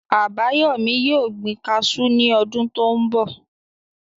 Àbáyọ̀mí yóò gbin kaasú ní ọdún tó n bọ̀